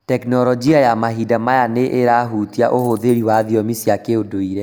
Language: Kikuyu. Tekinoronjĩ ya mahinda maya nĩ ĩrahutia ũhũthĩri wa thiomi cia kĩndũire.